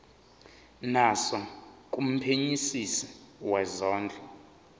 naso kumphenyisisi wezondlo